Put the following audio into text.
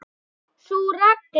Sú regla.